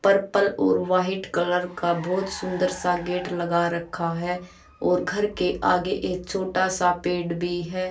Purple और white colour का बहोत सुंदर सा गेट लगा रखा है और घर के आगे एक छोटा सा पेड़ भी है।